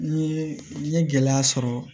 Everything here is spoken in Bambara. Ni n ye gɛlɛya sɔrɔ